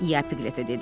İya Piqletə dedi.